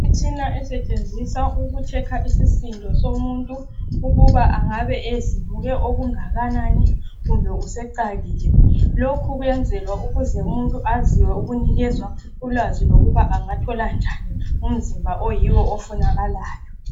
Imitshina esetshenziswa ukutshekha isisindo somuntu ukuba angabe ezimuke okungakanani kumbe usecakile, lokhu kwenzelwa ukuze umuntu aziwe ukunikezwa ulwazi lokuba angathola njani umzimba oyiwo ofunakalayo